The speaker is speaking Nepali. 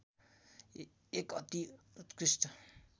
एक अति उत्कृष्ट